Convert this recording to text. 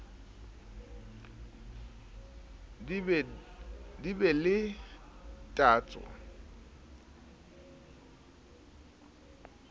di be le tatso e